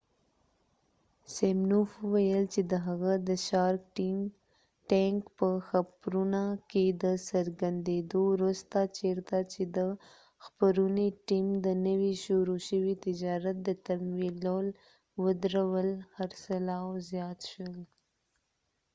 سمینوف وویل چې د هغه د شارک ټینک په خپرونه کې د څرګندیدو وروسته چیرته چې د خپرونې ټیم د نوي شروع شوي تجارت د تمویلول ودرول خرڅلاو زیات شو